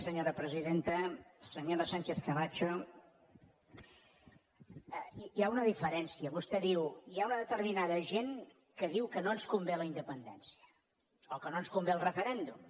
senyora sánchez camacho hi ha una diferència vostè diu hi ha una determinada gent que diu que no ens convé la independència o que no ens convé el referèndum